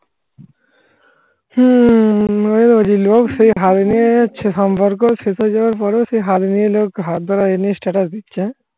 সম্পর্ক শেষ হয়ে যাওয়ার পরেও সেই লোক হাত ধরা এনে status দিচ্ছে